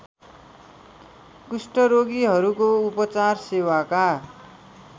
कुष्ठरोगीहरूको उपचार सेवाका